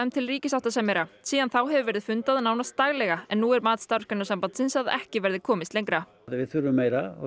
til ríkissáttasemjara síðan þá hefur verið fundað nánast daglega en nú er mat Starfsgreinasambandsins að ekki verði komist lengra við þurfum meira og